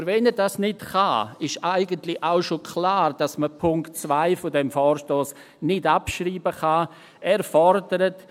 Aber wenn er dies nicht kann, ist eigentlich auch schon klar, dass man den Punkt 2 dieses Vorstosses nicht abschreiben kann.